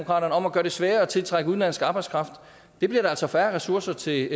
om at gøre det sværere at tiltrække udenlandsk arbejdskraft det bliver der altså færre ressourcer til